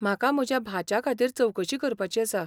म्हाका म्हज्या भाच्या खातीर चवकशी करपाची आसा.